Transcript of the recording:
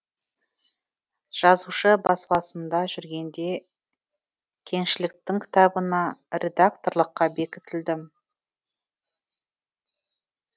жазушы баспасында жүргенде кеңшіліктің кітабына редакторлыққа бекітілдім